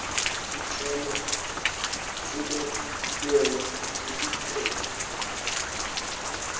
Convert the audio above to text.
sicelo sekwamukelwa kwetinhlobo